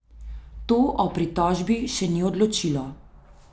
To o pritožbi še ni odločilo.